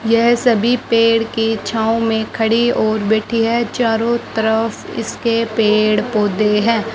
यह सभी पेड़ की छांव में खड़ी और बैठी है चारो तरफ इसके पेड़-पौधे हैं।